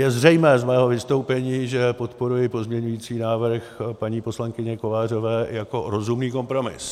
Je zřejmé z mého vystoupení, že podporuji pozměňující návrh paní poslankyně Kovářové jako rozumný kompromis.